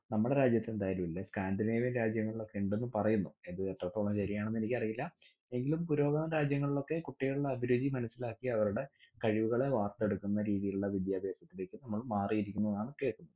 നമ്മടെ രാജ്യത്ത് എന്തായാലും ഇല്ല. സ്കാന്ഡിനേവിയൻ രാജ്യങ്ങളിലൊക്കെ ഇണ്ടെന്ന് പറയുന്നു. എത്രത്തോളം ശെരിയാണെന്ന് എനിക്ക് അറിയില്ല. എങ്കിലും പുരോഗമന രാജ്യങ്ങളിൽ ഒക്കെ കുട്ടികളുടെ അഭിരുചി മനസ്സിലാക്കി അവരുടെ കഴിവുകളെ വാർത്തെടുക്കുന്ന രീതീലുള്ള വിദ്യാഭ്യാസത്തിലേക്ക് നമ്മളും മാറി കേൾക്കുന്നത്.